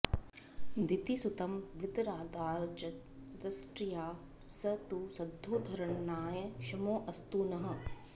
दितिसुतं विददार च दंष्ट्रया स तु सदोद्धरणाय क्षमोऽस्तु नः